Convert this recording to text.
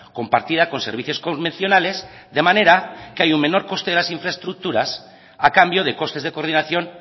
compartida con servicios convencionales de manera que hay un menor coste de las infraestructuras a cambio de costes de coordinación